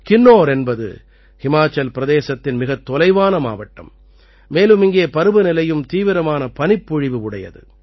கின்னோர் என்பது ஹிமாச்சல் பிரதேசத்தின் மிகத் தொலைவான மாவட்டம் மேலும் இங்கே பருவநிலையும் தீவிரமான பனிப்பொழிவு உடையது